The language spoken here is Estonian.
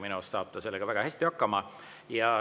Minu arust saab ta sellega väga hästi hakkama.